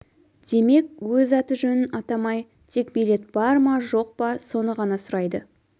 демек өз аты-жөнін атамай тек билет бар ма жоқ па соны ғана сұрайды